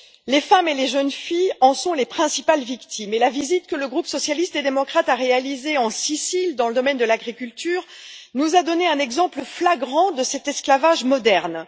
Les femmes et les jeunes filles en sont les principales victimes et la visite que le groupe socialiste et démocrate a réalisée en Sicile, dans le domaine de l'agriculture, nous a donné un exemple flagrant de cet esclavage moderne.